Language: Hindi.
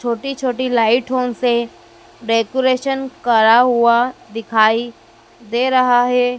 छोटी छोटी लाइठो से डेकोरेशन करा हुआ दिखाई दे रहा है।